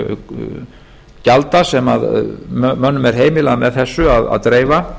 vaxtavöxtun gjalda sem mönnum er heimilað með þessu að dreifa